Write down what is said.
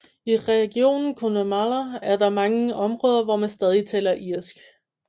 I regionen Connemara er der mange områder hvor man stadig taler irsk